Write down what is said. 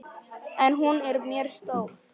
En hún er mér stór.